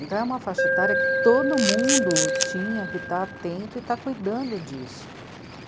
Então é uma faixa etária que todo mundo tinha que estar atento e estar cuidando disso.